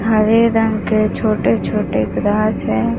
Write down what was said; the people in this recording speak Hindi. हरे रंग के छोटे छोटे पदार्थ है।